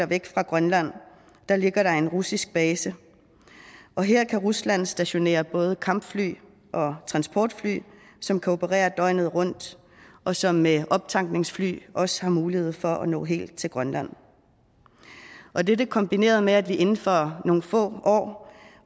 væk fra grønland ligger der en russisk base her kan rusland stationere både kampfly og transportfly som kan operere døgnet rundt og som med optankningsfly også har mulighed for at nå helt til grønland dette kombineret med at vi inden for nogle få år